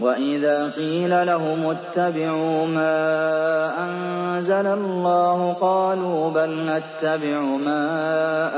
وَإِذَا قِيلَ لَهُمُ اتَّبِعُوا مَا أَنزَلَ اللَّهُ قَالُوا بَلْ نَتَّبِعُ مَا